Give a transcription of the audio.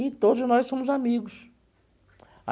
E todos nós somos amigos.